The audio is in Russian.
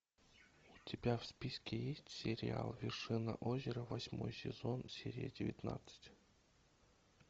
у тебя в списке есть сериал вершина озера восьмой сезон серия девятнадцать